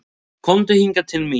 Komdu hingað til mín.